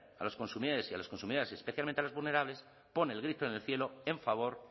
a los consumidores y a las consumidoras y especialmente a los vulnerables pone el grito en el cielo en favor